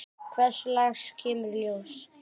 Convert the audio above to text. Hvers lags kemur í ljós.